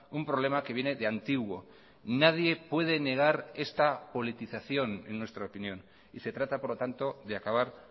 un problema que viene de antiguo nadie puede negar esta politización en nuestra opinión y se trata por lo tanto de acabar